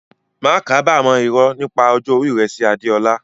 Má kábàámọ̀ irọ́ nípa ọjọ́ orí rẹ sí Adeola.